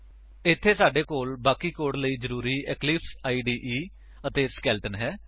ਇੱਥੇ ਸਾਡੇ ਕੋਲ ਬਾਕੀ ਕੋਡ ਲਈ ਜ਼ਰੂਰੀ ਇਕਲਿਪਸ ਇਦੇ ਅਤੇ ਸਕੇਲੇਟਨ ਹੈ